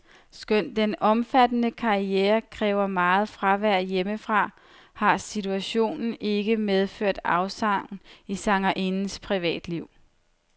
Skønt den omfattende karriere kræver meget fravær hjemmefra, har situationen ikke medført afsavn i sangerindens privatliv.